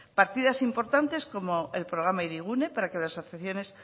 partidas importantes como el programa hirigune para que las asociaciones